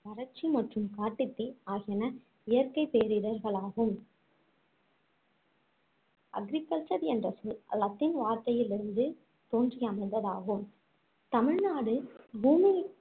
வறட்சி மற்றும் காட்டுத்தீ ஆகியன இயற்கைப் பேரிடர்களாகும் agriculture என்ற சொல் latin வார்த்தையில் இருந்து தோன்றி அமைந்ததாகும் தமிழ்நாடு பூமி~